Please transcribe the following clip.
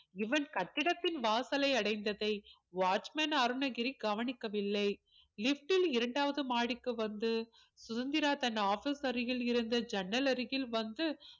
இவன் கட்டிடத்தின் வாசைலை அடைந்ததை watchman அருணகிரி கவனிக்கவில்லை lift ல் இரண்டாவது மாடிக்கு வந்து சுதந்திரா office தனது அருகில் இருந்த ஜன்னல் அருகில் வந்து